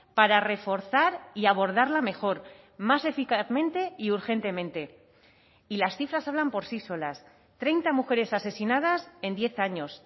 para reforzar y abordarla mejor más eficazmente y urgentemente y las cifras hablan por sí solas treinta mujeres asesinadas en diez años